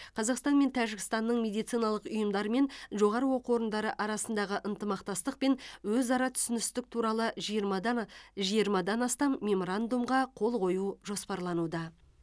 қазақстан мен тәжікстанның медициналық ұйымдары мен жоғары оқу орындары арасындағы ынтымақтастық пен өзара түсіністік туралы жиырмадан і жиырмадан астам меморандумға қол қою жоспарлануда